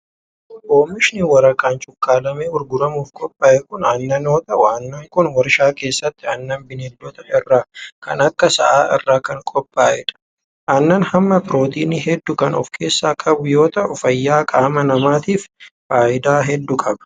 Oomishni waraqaan cuqqaalamee gurguramuuf qophaa'e kun aannan yoo ta'u, aannan kun warshaa keessatti aannan bineeldotaa irraa kan akka sa'aa irraa kan qophaa'e dha. Aannan hamma pirootinii hedduu kan of keessaa qabu yoo ta'u, fayyaa qaama namaatif faayidaa hedduu qaba.